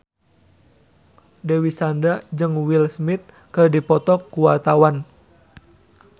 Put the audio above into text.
Dewi Sandra jeung Will Smith keur dipoto ku wartawan